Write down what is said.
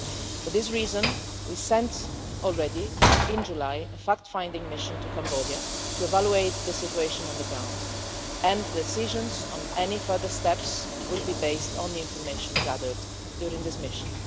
For this reason we sent already in July a fact finding mission to Cambodia to evaluate the situation on the ground, and the decisions on any further steps will be based on the information gathered during this mission.